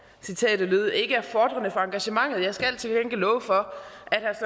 citatet lød ikke er fordrende for engagementet jeg skal til gengæld love for